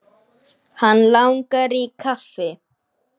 Hann langar í kaffi.